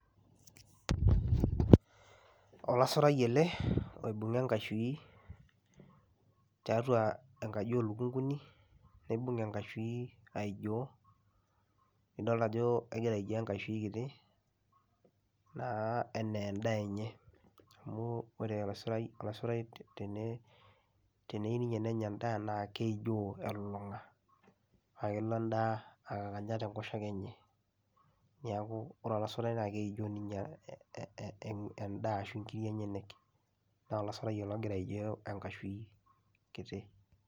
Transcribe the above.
Olasurai ele oibung'a enkashui tiatua enkaji oo lukung'uni nibung' enkashui aijoo, nidolta ajo egira aijoo enkashui kiti naa enee endaa enye. Neeku ore olasurai olasurai tene teneyiu ninye nenya endaa naa keijoo elulung'a naake elo endaa akakanya te nkoshoke enye. Neeku ore olasurai naake eijoo ninye ee ee ee endaa ashu nkirik enyenek, naa olasurai ele ogira aijoo enkashui kiti.